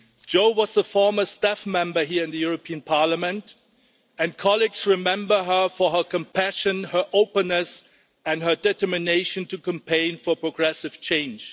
Jo was a former staff member here in the European Parliament and colleagues remember her for her compassion, her openness and her determination to campaign for progressive change.